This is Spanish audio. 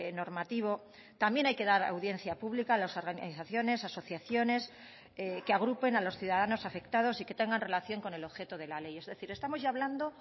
normativo también hay que dar audiencia pública a las organizaciones asociaciones que agrupen a los ciudadanos afectados y que tengan relación con el objeto de la ley es decir estamos ya hablando